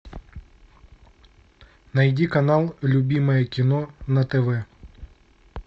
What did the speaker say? найди канал любимое кино на тв